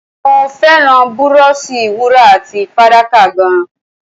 Mo fẹ́ràn búróóṣì wúrà àti fàdákà gan-an.